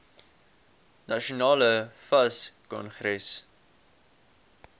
nasionale fas kongres